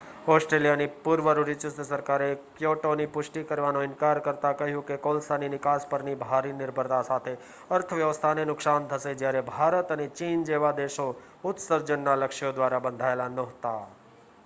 ઑસ્ટ્રેલિયાની પૂર્વ રૂઢિચુસ્ત સરકારે ક્યોટોની પુષ્ટિ કરવાનો ઇનકાર કરતાં કહ્યું કે તે કોલસાની નિકાસ પરની ભારી નિર્ભરતા સાથે અર્થવ્યવસ્થાને નુકસાન થશે જ્યારે ભારત અને ચીન જેવા દેશો ઉત્સર્જનના લક્ષ્યો દ્વારા બંધાયેલા નહોતા